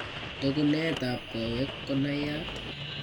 Toguneet ab koweek konaiyat